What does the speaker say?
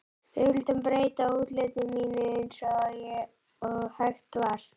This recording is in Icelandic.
Við vildum breyta útliti mínu eins og hægt var.